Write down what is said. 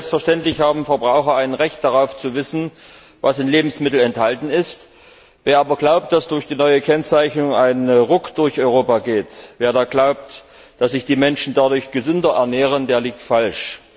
Selbstverständlich haben Verbraucher ein Recht zu wissen, was in Lebensmitteln enthalten ist. Wer aber glaubt, dass durch die neue Kennzeichnung ein Ruck durch Europa geht, wer da glaubt, dass sich die Menschen dadurch gesünder ernähren, der liegt falsch.